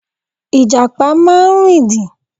Ìjàpá máa ń rìndìn.